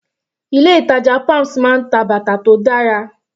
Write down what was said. Ilé ìtàjà palms máa ń ta bàtà tó dára.